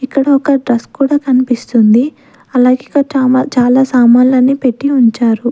ఇక్కడ ఒక డ్రెస్ కూడా కనిపిస్తుంది అలాగే చాలా సామాన్లు అన్ని పెట్టీ ఉంచారు.